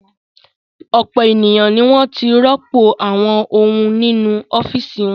Ọ̀pọ̀ ènìyàn ni wọ́n ti rọ́pò àwọn ohun nínú ọ́fíísì wọn.